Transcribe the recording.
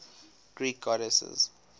greek goddesses